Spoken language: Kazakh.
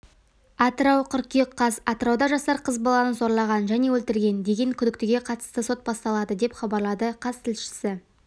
атырау қыркүйек қаз атырауда жасар қыз баланы зорлаған және өлтірген деген күдіктіге қатысты сот басталады деп хабарлады қаз тілшісі